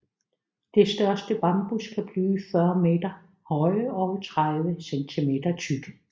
De største bambus kan blive 40 meter høje og 30 centimeter tykke